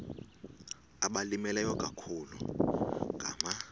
abalimileyo ikakhulu ngama